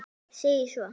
segir svo